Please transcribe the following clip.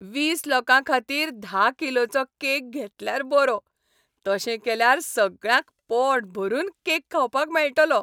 वीस लोकां खातीर धा किलोचो केक घेतल्यार बरो. तशें केल्यार सगळ्यांक पोटभरून केक खावपाक मेळटलो.